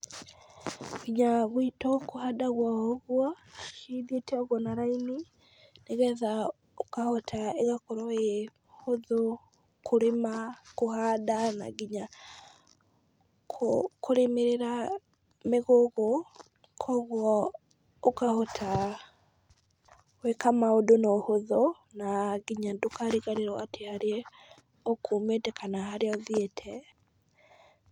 Nginya gwitũ kũhandagwo o ũgwo, cithiĩte ũgwo na raini , nĩgetha ũkahota, ĩgakorwo ĩ hũthũ kũrĩma, kũhanda, na nginya kũrĩmĩra mĩgũgũ, kogwo ũkahota gwĩka ũndũ na ũhũthũ , na nginya ndũkariganĩrwo atĩ harĩa ũkumĩte kana harĩa ũthiĩte.